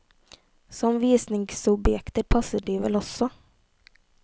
Som visningsobjekter passer de vel også.